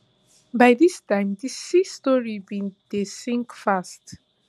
by dis time di sea story bin dey sink fast